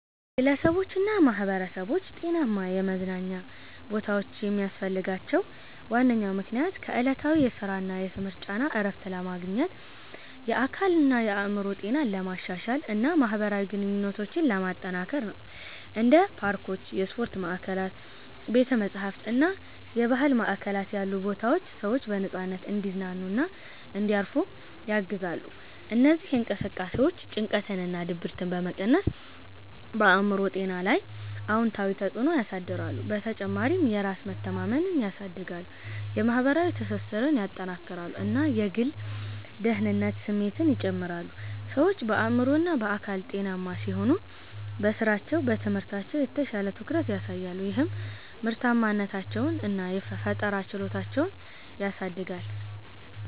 ግለሰቦችና ማኅበረሰቦች ጤናማ የመዝናኛ ቦታዎችን የሚያስፈልጋቸው ዋነኛ ምክንያት ከዕለታዊ የሥራና የትምህርት ጫና እረፍት ለማግኘት፣ የአካልና የአእምሮ ጤናን ለማሻሻል እና ማኅበራዊ ግንኙነቶችን ለማጠናከር ነው። እንደ ፓርኮች፣ የስፖርት ማዕከላት፣ ቤተ-መጻሕፍት እና የባህል ማዕከላት ያሉ ቦታዎች ሰዎች በነፃነት እንዲዝናኑና እንዲያርፉ ያግዛሉ። እነዚህ እንቅስቃሴዎች ጭንቀትንና ድብርትን በመቀነስ በአእምሮ ጤና ላይ አዎንታዊ ተጽዕኖ ያሳድራሉ። በተጨማሪም የራስ መተማመንን ያሳድጋሉ፣ የማኅበራዊ ትስስርን ያጠናክራሉ እና የግል ደህንነት ስሜትን ይጨምራሉ። ሰዎች በአእምሮና በአካል ጤናማ ሲሆኑ በሥራቸውና በትምህርታቸው የተሻለ ትኩረት ያሳያሉ፣ ይህም ምርታማነታቸውን እና ፈጠራ ችሎታቸውን ያሳድጋል